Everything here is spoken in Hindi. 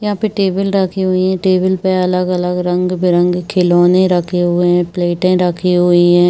यहाँ पर टेबिल रखे हुए हैं। टेबिल पे अलग-अलग रंग-बिरंगे खिलौनों रखे हुए हैं। प्लेटे रखी हुई हैं।